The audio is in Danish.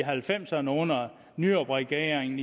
halvfemserne under nyrupregeringen